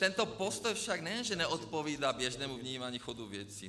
Tento postoj však nejen že neodpovídá běžnému vnímání chodu věcí.